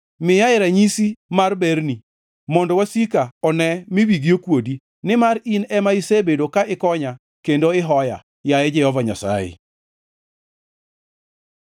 Miyae ranyisi mar berni, mondo wasika one mi wigi okuodi, nimar in ema isebedo ka ikonya kendo ihoya, yaye Jehova Nyasaye.